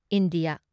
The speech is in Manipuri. ꯏꯟꯗꯤꯌꯥ ꯫